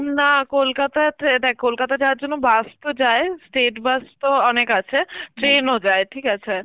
না কলকাতা ত্রে~ দেখ কলকাতা যাওয়ার জন্য bus তো যায়, state bus তো অনেক আছে, train ও যায় ঠিক আছে?